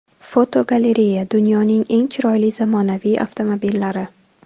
Fotogalereya: Dunyoning eng chiroyli zamonaviy avtomobillari.